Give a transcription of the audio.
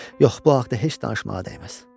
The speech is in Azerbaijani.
Yox, bu haqda heç danışmağa dəyməz.